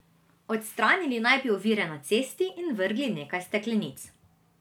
Odstranili naj bi ovire na cesti in vrgli nekaj steklenic.